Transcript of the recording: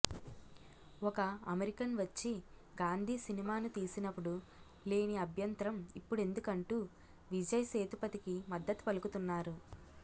ఒక అమెరికన్ వచ్చి గాంధీ సినిమాను తీసినప్పుడు లేని అభ్యంతరం ఇప్పుడెందుకంటూ విజయ్ సేతుపతికి మద్దతు పలుకుతున్నారు